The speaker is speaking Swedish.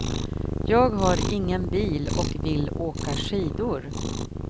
Jag har ingen bil och vill åka skidor.